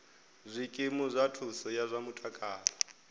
zwikimu zwa thuso ya zwa mutakalo